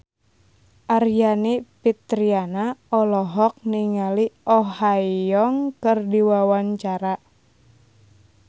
Aryani Fitriana olohok ningali Oh Ha Young keur diwawancara